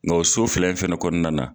Nga o so fila in fɛnɛ kɔnɔna na